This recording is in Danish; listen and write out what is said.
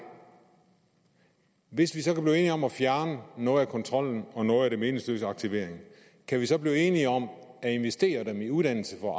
hvis vi så kan om at fjerne noget af kontrollen og noget af den meningsløse aktivering kan vi så blive enige om at investere pengene i uddannelse for